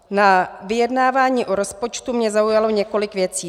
Na vyjednávání o rozpočtu mě zaujalo několik věci.